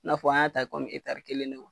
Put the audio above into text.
N'a fɔ an y'a ta kelen de